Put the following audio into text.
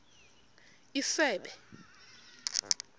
isebe